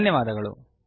ಧನ್ಯವಾದಗಳು